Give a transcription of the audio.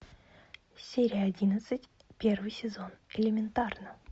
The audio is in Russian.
серия одиннадцать первый сезон элементарно